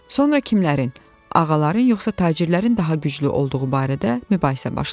Sonra kimlərin - ağaların yoxsa tacirlərin daha güclü olduğu barədə mübahisə başladı.